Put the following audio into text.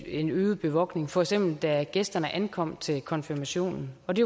en øget bevogtning for eksempel da gæsterne ankom til konfirmationen og det